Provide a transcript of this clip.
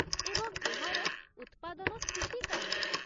ଏବଂ ଏହାର ଉତ୍ପାଦନ ସ୍ଥିତି କ'ଣ?